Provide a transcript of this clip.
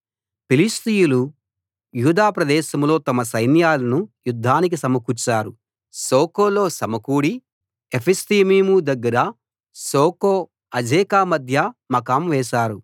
ఫిలిష్తీయులు యూదా ప్రదేశంలో తమ సైన్యాలను యుద్ధానికి సమకూర్చారు శోకోలో సమకూడి ఏఫెస్దమ్మీము దగ్గర శోకో అజేకా మధ్య మకాం చేశారు